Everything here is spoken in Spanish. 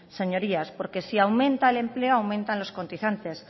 señorías porque si aumenta el empleo aumentan los contingentes